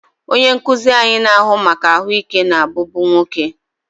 Onye nkuzi anyị na-ahụ maka ahụike na-abụbu nwoke.